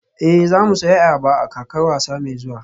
Ee, za mu sayi ayaba a kakar wasa mai zuwa